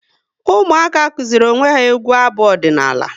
Ụmụaka kụziri onwe ya egwu abu ọdịnala